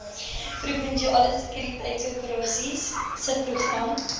provinsiale sekuriteitsoperasies subprogram